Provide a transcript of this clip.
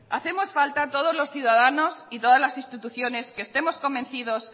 hacemos falta todos los ciudadanos y todas las instituciones que estemos convencidos